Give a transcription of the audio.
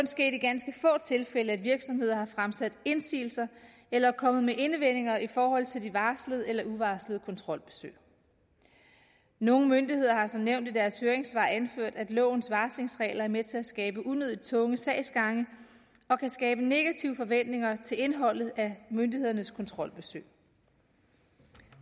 sket i ganske få tilfælde at virksomheder har fremsat indsigelser eller er kommet med indvendinger i forhold til de varslede eller uvarslede kontrolbesøg nogle myndigheder har som nævnt i deres høringssvar anført at lovens varslingsregler er med til at skabe unødig tunge sagsgange og kan skabe negative forventninger til indholdet af myndighedernes kontrolbesøg